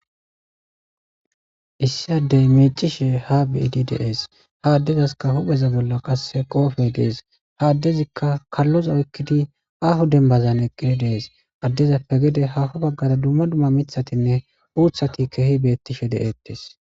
Issi addey meicishe ha biidi dees ha addezaska hupheza bolla qasse qoofey dees ha addezikka kalloza oykkidi ahu dembazan eqqire dees addezappe gede hafo baggara dumma dumma mithatinne uuthati keehi beettishe de7ettes.